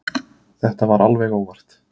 Þetta var alveg óvart.